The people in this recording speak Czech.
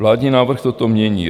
Vládní návrh toto mění.